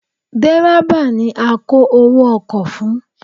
Dẹ̀rẹ́bà ni a kó owó ọkọ̀ fún.